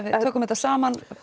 við tökum þetta saman